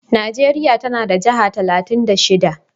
Najeriya tana da jihar talatin da shida.